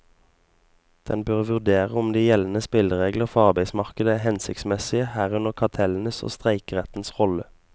Den bør vurdere om de gjeldende spilleregler for arbeidsmarkedet er hensiktsmessige, herunder kartellenes og streikerettens rolle.